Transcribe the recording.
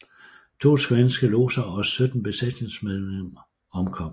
To svenske lodser og sytten besætningsmedlemmer omkom